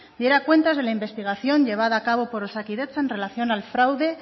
diera cuentas de la investigación llevada a cabo por osakidetza en relación al fraude